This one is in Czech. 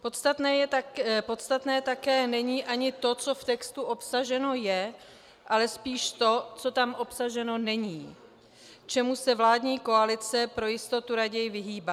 Podstatné také není ani to, co v textu obsaženo je, ale spíš to, co tam obsaženo není, čemu se vládní koalice pro jistotu raději vyhýbá.